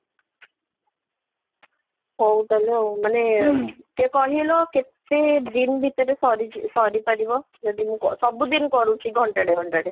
ହଉ ତାହାଲେ ଆଉ ମାନେ କେ କହିଲ କେତେ ଦିନ ଭିତରେ ସରି ଜି ସରି ପାରିବ? ଯଦି ମୁଁ କ ସବୁ ଦିନ କରୁଛି ଘଣ୍ଟା ଟେ ଘଣ୍ଟା ଟେ